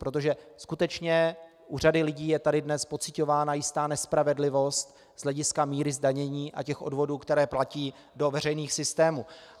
Protože skutečně u řady lidí je tady dnes pociťována jistá nespravedlivost z hlediska míry zdanění a těch odvodů, které platí do veřejných systémů.